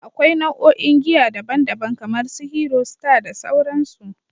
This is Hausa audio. Akwai nau'o'in giya daban-daban kamar su Hero, Star, da sauransu.